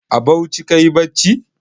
A Bauchi kayi bacci?